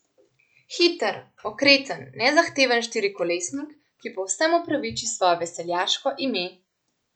Hiter, okreten, nezahteven štirikolesnik, ki povsem upraviči svoje veseljaško ime.